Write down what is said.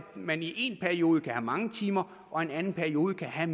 man i en periode kan have mange timer og i en anden periode kan have